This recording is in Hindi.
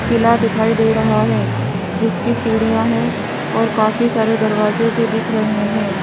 किला दिखाई दे रहा हैं जिसकी सीढ़ियां हैं और काफी सारे दरवाजे भी दिख रहें हैं।